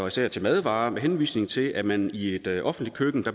især til madvarer med henvisning til at man i et offentligt køkken